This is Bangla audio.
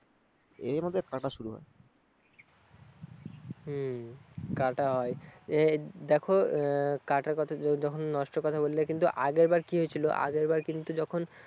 এভাবে কাটা শুরু হয়। হম কাটায়, এই দেখো কাটার কথা যখন নষ্টের কথা বললে কিন্তু আগের বার কি হয়েছিল? আগের বার কিন্তু যখন